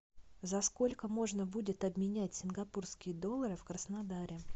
за сколько можно будет обменять сингапурские доллары в краснодаре